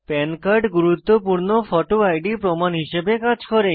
পান কার্ড গুরুত্বপূর্ণ photo ID প্রমাণ হিসাবে কাজ করে